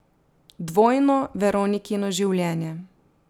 Dvojno Veronikino življenje.